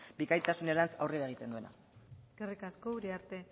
bikaintasunerantz aurrera egiten duena eskerrik asko uriarte